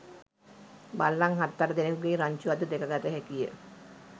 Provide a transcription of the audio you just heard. බල්ලන් හත් අට දෙනෙකුගේ රංචුවක්ද දැකගත හැකිවිය